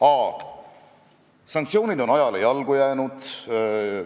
Te olete juba kolmas kord küsinud, kas volikogu esimees on lõpetanud eestikeelse kooli.